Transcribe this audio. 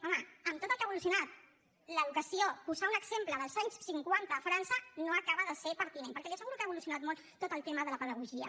home amb tot el que ha evolucionat l’educació posar un exemple dels anys cinquanta a frança no acaba de ser pertinent perquè li asseguro que ha evolucionat molt tot el tema de la pedagogia